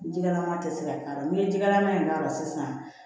Jigɛlama tɛ se ka k'a la n'i ye jɛgɛlama in k'a la sisan